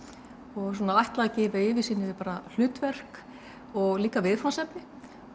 og ætlað að gefa yfirsýn yfir hlutverk og líka viðfangsefni